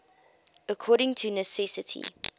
according to necessity